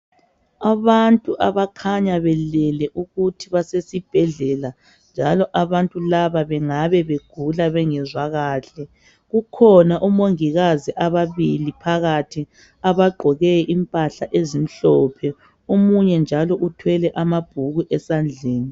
Abantu abakhanya belele ukuthi basesibhedlela njalo abantu laba bengabe begula bengezwa kahle kukhona omongikazi ababili phakathi abagqoke impahla ezimhlophe omunye njalo uthwele amabhuku esandleni